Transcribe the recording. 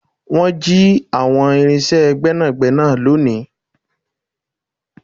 Wọn jì àwọn irinse Gbẹ́nàgbẹ́nà leni